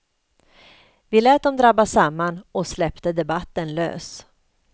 Vi lät dem drabba samman och släppte debatten lös.